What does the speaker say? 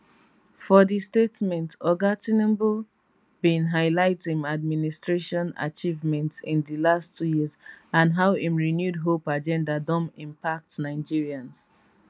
for di statement oga tinubu bin highlight im administration achievements in di last two years and how im renewed hope agenda don impact nigerians